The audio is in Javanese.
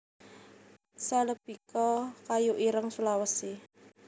celebica kayu ireng Sulawesi